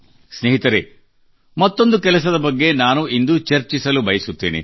ಸ್ನೇಹಿತರೆ ಮತ್ತೊಂದು ಕೆಲಸದ ಬಗ್ಗೆ ನಾನು ಇಂದು ಚರ್ಚಿಸಲು ಬಯಸುತ್ತೇನೆ